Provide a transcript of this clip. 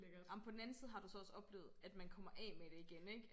Ej men på den anden side har du så også oplevet at man kommer af med det igen ikke